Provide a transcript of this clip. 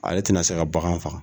Ale ti na se ka bagan faga.